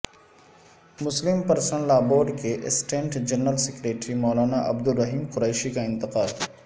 مسلم personal لا board کے assistant general secretary مولاناعبدالرحیم Qureshi کا انتقال